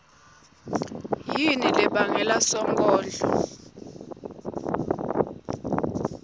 yini lebangele sonkondlo